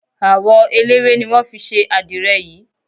Àwọ eléwé ni wọ́n fi ṣe àdirẹ̀ yìí.